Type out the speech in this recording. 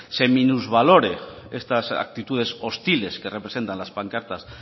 se minusvalore estas actitudes hostiles que representan las pancartas